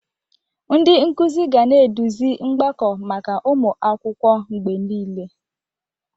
Ndị nkuzi ga na-eduzi mgbakọ maka ụmụ akwụkwọ mgbe niile.